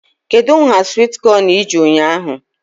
Kedụ nhá swit kọn iji ụnyaahụ?